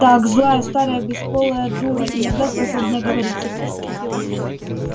так злая старая бесполая дура иногда способная говорить